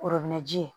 ji ye